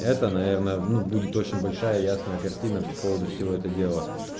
это наверное ну будет очень большая и ясная картина по поводу всего это дела